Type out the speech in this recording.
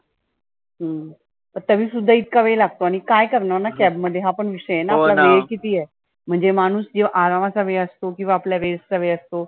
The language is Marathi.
हम्म मग तरी सुद्धा इतका वेळ लागतो आणि काय करणार ना cab मध्ये हा पण विषय आहे. वेळ किती आहे. म्हणजे माणुस जो आरामाचा वेळ असतो किंवा आपल्या rest चा वेळ असतो.